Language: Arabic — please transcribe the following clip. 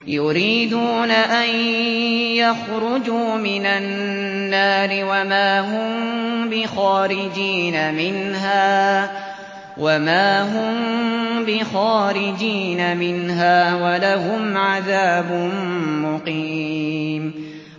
يُرِيدُونَ أَن يَخْرُجُوا مِنَ النَّارِ وَمَا هُم بِخَارِجِينَ مِنْهَا ۖ وَلَهُمْ عَذَابٌ مُّقِيمٌ